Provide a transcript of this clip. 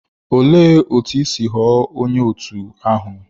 Olee otú i si ghọọ onye òtù ahụ?